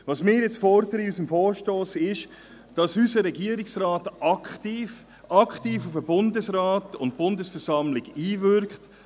Was wir in unserem Vorstoss fordern, ist, dass unser Regierungsrat aktiv, aktiv auf den Bundesrat und die Bundesversammlung einwirkt.